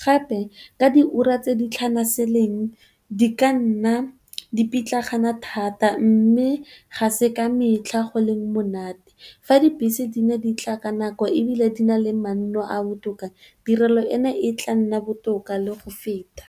Gape ka diura tse di tlhanaseleng di ka nna di pitlagana thata mme, ga se ka metlha go leng monate fa dibese di ne di tla ka nako ebile di na le manno a botoka tirelo eno e tla nna botoka le go feta.